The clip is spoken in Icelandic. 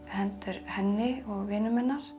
henni og vinum hennar